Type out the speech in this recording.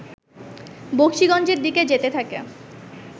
বকশীগঞ্জের দিকে যেতে থাকে